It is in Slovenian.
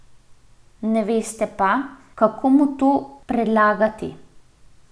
Ne veste pa, kako mu to predlagati.